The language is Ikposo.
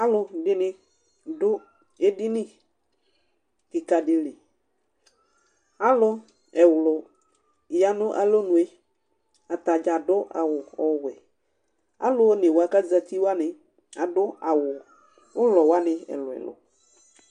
Alʋ dɩnɩ dʋ edini kɩka dɩ liAlʋ ɛwlʊ ya nʋ alonue, atadza adʋ awʋ ɔwɛAlʋ one wa k' azati wanɩ adʋ awʋ ʋlɔ wanɩ ɛlʋɛlʋ